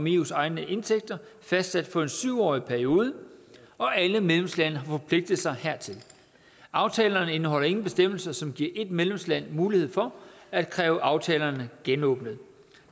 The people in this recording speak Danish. eus egne indtægter fastsat for en syv årig periode og alle medlemslande har forpligtet sig hertil aftalerne indeholder ingen bestemmelse som giver et medlemsland mulighed for at kræve aftalerne genåbnet